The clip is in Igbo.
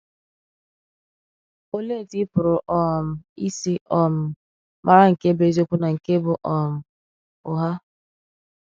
Olèe otú ì pụrụ um isi um màrà nke bụ èzìokwu na nke bụ um ụgha?